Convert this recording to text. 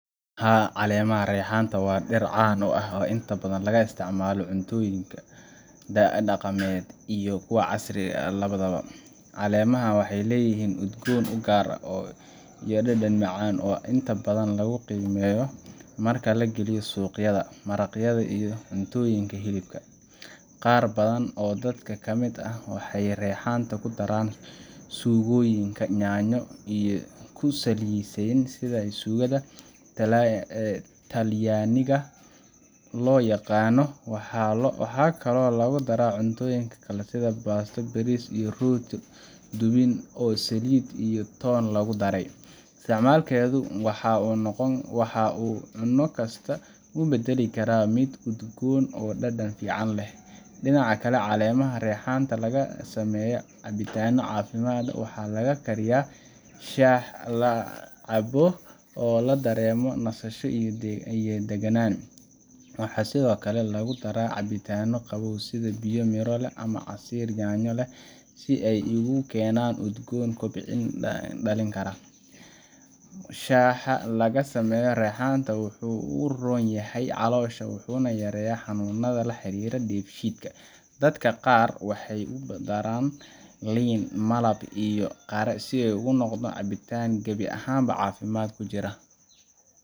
Haa caleemaha reexaanta wa dir caan u ah oo inta badhan laga isticmalo cuntoyinka daci daqamed iyo kuwa casri ah labathaba. Caleemaha waxay leyihin udgon ugaar oo iyo dedan macan oo inta badhan lagu qeymeyo marki lagiliyo suqyadha, maraqyadha iyo cuntoyinka hilibka. Qaar badhan oo dadka kamid ah waxay reexaanta kudaraan sugoyinka yanyo iyo kusaleysin sidha sugadha talyaniga loyaqana waxa kalo lagudara cuntoyinka kale sidhi basta, bariis iyo rooti Dubin oo salid toon lagudaray. Isticmalkedho waxa u cuna kasta kubadali Kara mid udgon oo dadan fican leh. Dinaca kale caleemaha reexaanta lagasameyo cabitana cafimaad waxa laga kariya shaaha lacabo oo ladarema nasasho iyo deganan. Waxa sidhokale lagudara cabitana qabow sidhi biyo iyo Mira leh ama Casiir yanyo leh si ay igukenan udgon kubcin dalin kara. Shaaha lagasameyo reexaanta waxu uronyaxay calosha waxu u yareya xanunadha laxariro deef shidka. Dadka qaar waxay kudaran liin, malab iyo qara sidhi u noqda cabitan kabi axaan cafimaad kujura.